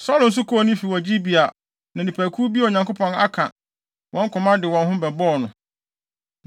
Saulo nso kɔɔ ne fi wɔ Gibea na nnipakuw bi a Onyankopɔn aka wɔn koma de wɔn ho bɛbɔɔ no.